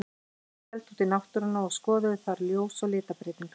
Þeir héldu út í náttúruna og skoðuðu þar ljós og litabreytingar.